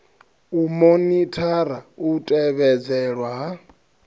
u monithara u tevhedzelwa ha